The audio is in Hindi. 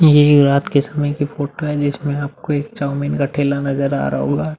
ये रात के समय की फोटो है जिसमें आपको एक चाऊमीन का ठेला नजर आ रहा होगा।